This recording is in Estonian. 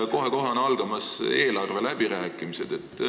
Kohe-kohe on algamas eelarveläbirääkimised.